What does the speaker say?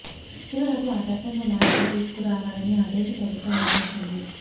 చివరకు ఆ చట్టంలో మార్పులు తీసుకురావాలని ఆ దేశ ప్రభుత్వం భావించింది